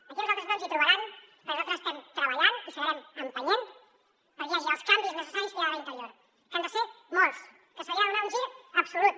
aquí a nosaltres no ens hi trobaran perquè nosaltres estem treballant i seguirem empenyent perquè hi hagi els canvis necessaris que hi ha d’haver a interior que n’han de ser molts que se li ha de donar un gir absolut